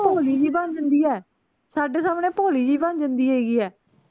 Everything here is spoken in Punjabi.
ਭੋਲੀ ਜੀ ਬਣ ਜਾਂਦੀ ਐ ਸਾਡੇ ਸਾਹਮਣੇ ਭੋਲੀ ਜੀ ਬਣ ਜਾਂਦੀ ਹੈਗੀ ਐ